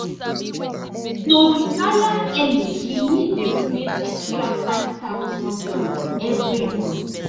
to retire early she need dey save extra five thousand dollars every month